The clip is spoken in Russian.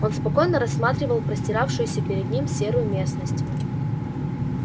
он спокойно рассматривал простиравшуюся перед ним серую местность